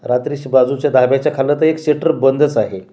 रात्रीच्या बाजूच्या दाब्याच्या खाली तर एक शटर बंदच आहे.